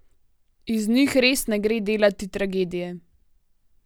Iz njih res ne gre delati tragedije.